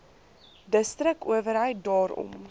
distrik owerheid daarom